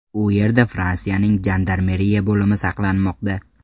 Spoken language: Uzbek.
U yerda Fransiyaning jandarmeriya bo‘limi saqlanmoqda.